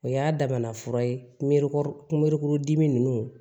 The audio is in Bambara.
O y'a damana fura ye kunbeleburu dimi nunnu